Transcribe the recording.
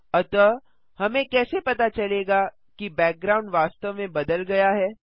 अतः हमें कैसे पता चलेगा कि बैकग्राउंड वास्तव में बदल गया है